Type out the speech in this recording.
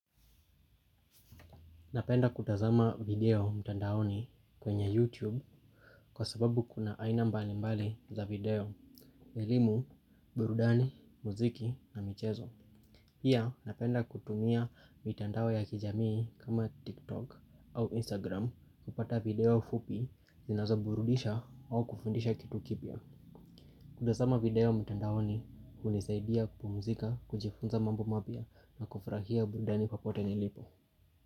Napenda kutazama video mtandaoni kwenye YouTube kwa sababu kuna aina mbali mbali za video elimu, burudani, muziki na michezo. Pia napenda kutumia mitandao ya kijamii kama TikTok au Instagram kupata video fupi zinazoburudisha au kufundisha kitu kipya. Kutazama video mtandaoni hunisaidia kupumzika, kujifunza mambo mapya na kufurahia burudani popote nilipo.